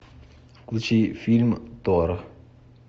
включи фильм тор